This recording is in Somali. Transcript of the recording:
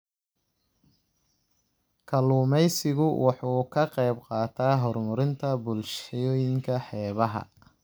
Kalluumaysigu waxa uu ka qayb qaataa horumarinta bulshooyinka xeebaha.